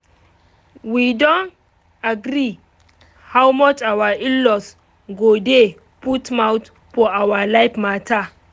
we don agree how much our in-law go dey put mouth for our life matter